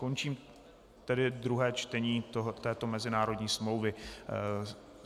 Končím tedy druhé čtení této mezinárodní smlouvy.